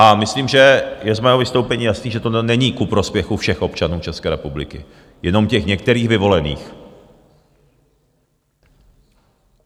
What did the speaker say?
A myslím, že je z mého vystoupení jasné, že tohle není ku prospěchu všech občanů České republiky, jenom těch některých vyvolených.